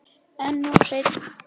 En of seinn.